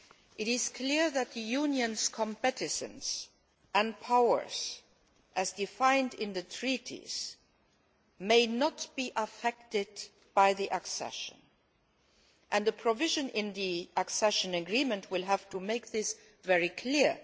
It is clear that the Union's competence and powers, as defined in the Treaties, may not be affected by the accession, and the provision in the accession agreement will have to make this very clear.